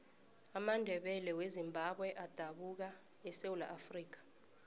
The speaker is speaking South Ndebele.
amandebele wezimbabwe adabuka esewula afrikha